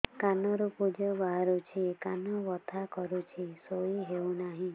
କାନ ରୁ ପୂଜ ବାହାରୁଛି କାନ ବଥା କରୁଛି ଶୋଇ ହେଉନାହିଁ